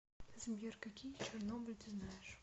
сбер какие чернобыль ты знаешь